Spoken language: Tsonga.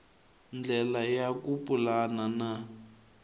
ndlela ya ku pulana na